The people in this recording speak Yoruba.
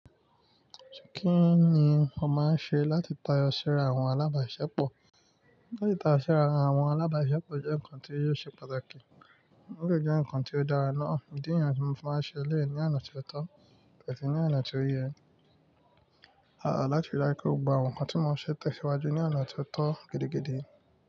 Kí ni o máa ń ṣe láti tayọ síra àwọn alábàáṣepọ̀? Láti tayọ síra àwọn alábàásepo jẹ́ nǹkan tí o ṣe pàtàkì, ó de jẹ nǹkan tí ó dára ná. Ìdí niyen tí mo fi máa ń ṣe eleyii ní ona tí ó tọ́ ati ní ona tí ó yẹ. Aà lati rí dájú pé ó gbogbo àwọn nǹkan tí mo ṣè tesíwájú ní ona tí ó tọ́ gidi gidí.